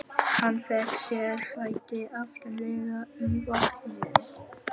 Hann fékk sér sæti aftarlega í vagninum.